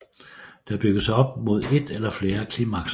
Der bygges op mod et eller flere klimakser